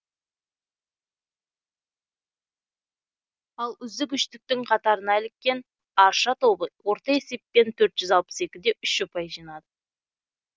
ал үздік үштіктің қатарына іліккен арша тобы орта есеппен төрт жүз алпыс екі де үш ұпай жинады